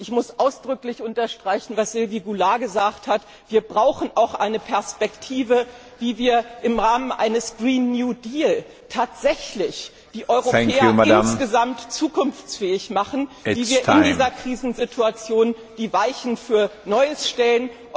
Ich muss ausdrücklich unterstreichen, was Sylvie Goulard gesagt hat Wir brauchen eine Perspektive, wie wir im Rahmen eines Green New Deal tatsächlich die Europäer insgesamt zukunftsfähig machen, wie wir in dieser Krisensituation die Weichen für Neues stellen.